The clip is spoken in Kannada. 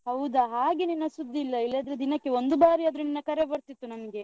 ಹೌದಾ ಹಾಗೆ ನಿನ್ನ ಸುದ್ದಿ ಇಲ್ಲ, ಇಲ್ಲಾದ್ರೆ ದಿನಕ್ಕೆ ಒಂದು ಬಾರಿ ಆದ್ರು ನಿನ್ನ ಕರೆ ಬರ್ತಿತ್ತು ನಂಗೆ.